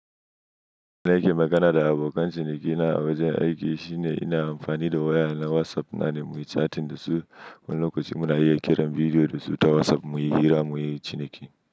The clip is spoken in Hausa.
Na nake magana da abokan shi dake nan a wajen aiki shine ina amfani da waya na WhatsApp na ne muyi catin da su. Wani lokacin muna iya kiran bidiyo da su ta WhatsApp muyi hira muyi ciniki.